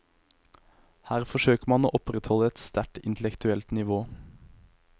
Her forsøker man å opprettholde et sterkt intellektuelt nivå.